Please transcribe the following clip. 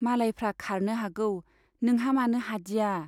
मालायफ्रा खारनो हागौ , नोंहा मानो हादिया ?